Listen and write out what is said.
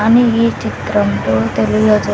అని ఈ చిత్రంలో తెలియజే.